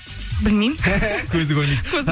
білмеймін көзі көрмейді көзім